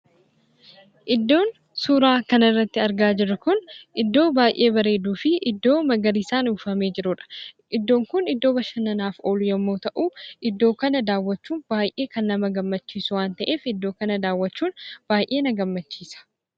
Iddoon suuraa kanarratti argaa jirru kun iddoo baay'ee bareeduu fi iddoo magariisaan uwwifamee jirudha. Iddoon kun iddoo bashannanaaf oolu yommuu ta'u, iddoo kana daawwachuun baay'ee gammachiisu waan ta'eef iddoo kana daawwachuun baay'ee na gammachiisa.